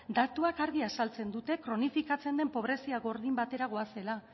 datuek argi azaltzen dute kronifikatzen den pobrezia gordin batera goazela